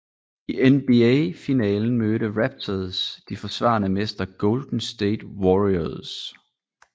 I NBA finalen mødte Raptors de forsvarende mestre Golden State Warriors